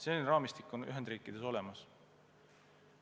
Selline raamistik on Ühendriikides olemas.